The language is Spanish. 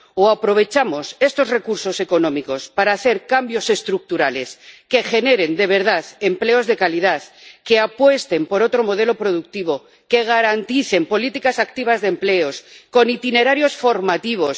O aprovechamos estos recursos económicos para hacer cambios estructurales que generen de verdad empleos de calidad, que apuesten por otro modelo productivo, que garanticen políticas activas de empleo con itinerarios formativos